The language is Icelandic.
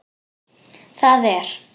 Það er.